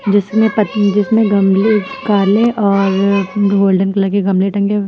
जिसमे जिसमें गमले काले और गोल्डन कलर के गमले टंगे हु --